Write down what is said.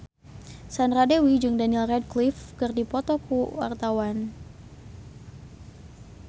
Sandra Dewi jeung Daniel Radcliffe keur dipoto ku wartawan